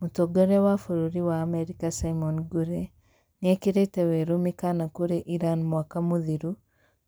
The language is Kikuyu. Mũtongoria wa bũrũri wa Amerika Simon Ngure nĩekirite werũ mĩkaana kurĩ Iran mwaka muthiru